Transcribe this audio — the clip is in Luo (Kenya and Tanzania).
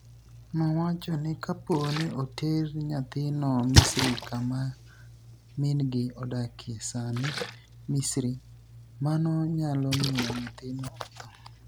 nowacho nii kapo nii oter niyathino Misri kama mini gi odakie sanii Misri, mano niyalo miyo niyathino otho.